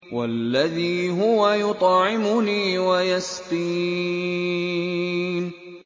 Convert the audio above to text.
وَالَّذِي هُوَ يُطْعِمُنِي وَيَسْقِينِ